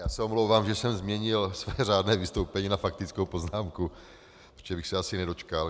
Já se omlouvám, že jsem změnil své řádné vystoupení na faktickou poznámku, protože bych se asi nedočkal.